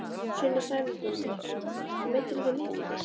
Sunna Sæmundsdóttir: Meiddirðu þig mikið?